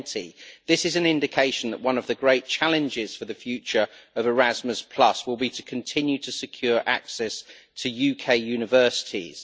20. This is an indication that one of the great challenges for the future of Erasmus will be to continue to secure access to UK universities.